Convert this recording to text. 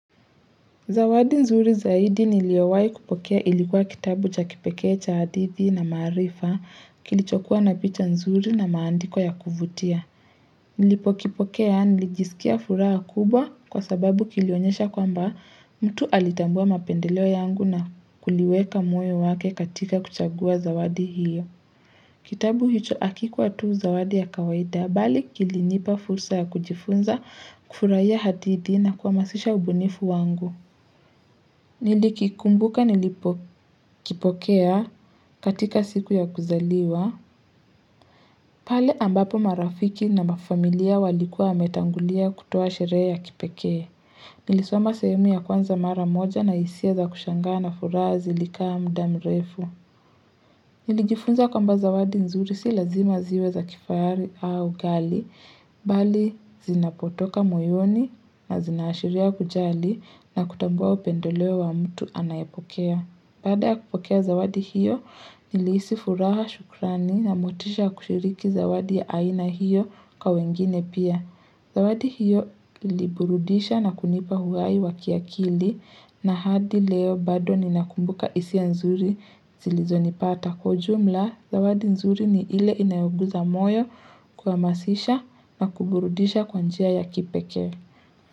Zawadi nzuri zaidi niliyowai kupokea ilikuwa kitabu cha kipekee cha hadithi na maarifa kilichokuwa na picha nzuri na maandiko ya kuvutia. Nilipo kipokea nilijisikia furaha kubwa kwa sababu kilionyesha kwamba mtu alitambua mapendeleo yangu na kuliweka moyo wake katika kuchagua zawadi hiyo. Kitabu hicho hakikuwa tu zawadi ya kawaida bali kilinipa fursa ya kujifunza kufurahia hadithi na kuamasisha ubunifu wangu. Nili kikumbuka nilipo kipokea katika siku ya kuzaliwa, pale ambapo marafiki na mafamilia walikuwa wametangulia kutoa sherehe ya kipekee. Nilisoma sehemu ya kwanza mara moja na hisia za kushanga na furaha zilika muda mrefu. Nilijifunza kwamba zawadi nzuri si lazima ziwe za kifari au ghali, bali zinapotoka moyoni na zinashiria kujali na kutambua upendeleo wa mtu anayepokea. Nilikikumbuka nilipo kipokea katika siku ya kuzaliwa, pale ambapo marafiki na mafamilia walikuwa wametangulia kutoa sherehe ya kipekee. Nilisoma sayumi ya kwanza mara moja na hosia za kushangaa na furaha zilika muda mrefu. Kwa ujumla, zawadi nzuri ni ile inayoguza moyo kuhamasisha na kuburudisha kwa njia ya kipekee.